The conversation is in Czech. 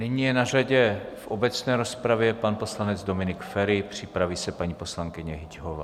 Nyní je na řadě v obecné rozpravě pan poslanec Dominik Feri, připraví se paní poslankyně Hyťhová.